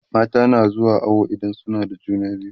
mata na zuwa awo idan suna da juna biyu